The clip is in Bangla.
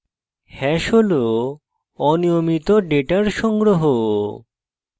hash hash অনিয়মিত ডেটার সংগ্রহ